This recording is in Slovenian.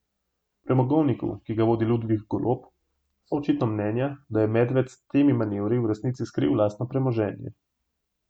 V premogovniku, ki ga vodi Ludvik Golob, so očitno mnenja, da je Medved s temi manevri v resnici skril lastno premoženje.